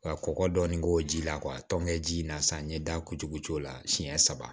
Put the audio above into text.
Ka kɔkɔ dɔɔnin k'o ji la tɔnkɛ ji in na sa n ɲɛ da kutuku la siɲɛ saba